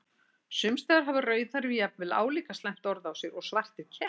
Sums staðar hafa rauðhærðir jafnvel álíka slæmt orð á sér og svartir kettir.